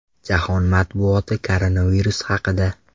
Jahon matbuoti koronavirus haqida.